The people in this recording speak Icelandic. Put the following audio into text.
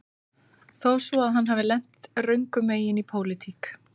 Þó svo að hann hafi lent röngum megin í pólitík